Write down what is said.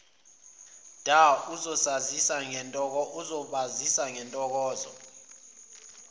dha azobasiza ngentokozo